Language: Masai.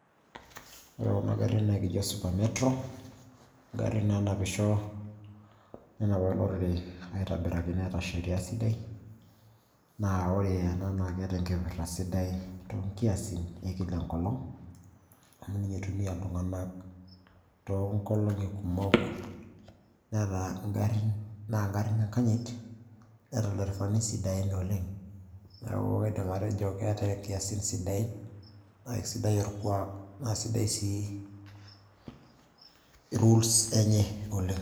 ore kuna garrin naa ekijo super metro ingarrin naanapisho nenap olorere aitobiraki neeta sheria sidai naa ore ena naa keeta enkipirta sidai toonkiasin ekila enkolong amu ninye eitumia iltung'anak toonkolong'i kumok naa ngarrin enkanyit neeta ilderefani sidain oleng neeku kaidim atejo keeta inkiasin sidain naa isidai orkuak naa sidai sii rules enye oleng.